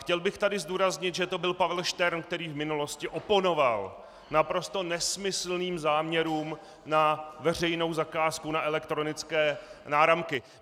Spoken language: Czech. Chtěl bych tu zdůraznit, že to byl Pavel Štern, který v minulosti oponoval naprosto nesmyslným záměrům na veřejnou zakázku na elektronické náramky.